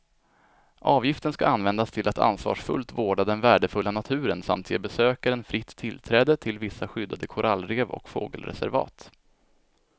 Avgiften ska användas till att ansvarsfullt vårda den värdefulla naturen samt ge besökaren fritt tillträde till vissa skyddade korallrev och fågelreservat.